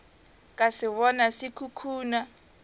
ka se bona se khukhuna